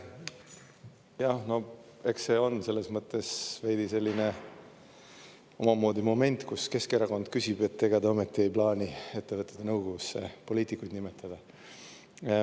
Jah, eks see on veidi selline omamoodi moment: Keskerakond küsib, ega te ometi ei plaani ettevõtete nõukogusse poliitikuid nimetada.